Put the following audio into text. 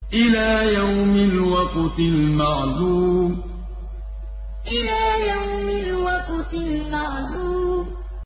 إِلَىٰ يَوْمِ الْوَقْتِ الْمَعْلُومِ إِلَىٰ يَوْمِ الْوَقْتِ الْمَعْلُومِ